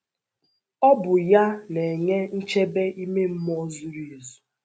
Ọ bụ ya na - enye nchebe ime mmụọ zuru ezu.